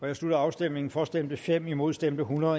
jeg slutter afstemningen for stemte fem imod stemte hundrede